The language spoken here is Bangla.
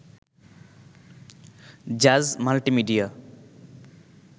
জাজ মাল্টিমিডিয়া